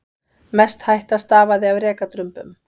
Mest hætta stafaði af rekadrumbum.